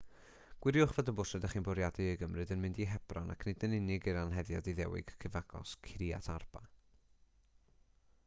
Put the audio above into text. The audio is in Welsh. gwiriwch fod y bws rydych chi'n bwriadu ei gymryd yn mynd i hebron ac nid yn unig i'r anheddiad iddewig cyfagos kiryat arba